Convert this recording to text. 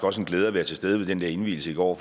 også en glæde at være til stede ved indvielsen i går